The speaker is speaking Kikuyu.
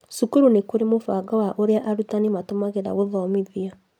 Cukuru nĩkũrĩ mũbango wa ũrĩa arutani matũmagĩra gũthomithia